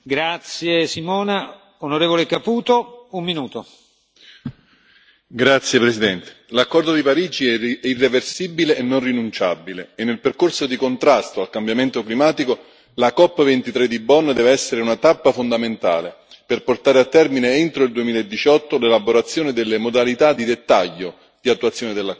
Signor Presidente, onorevoli colleghi, l'accordo di Parigi è irreversibile e non rinunciabile e, nel percorso di contrasto al cambiamento climatico, la COP 23 di Bonn deve essere una tappa fondamentale per portare a termine entro il 2018 l'elaborazione delle modalità di dettaglio di attuazione dell'accordo.